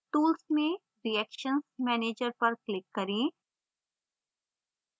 tools में reactions manager पर click करें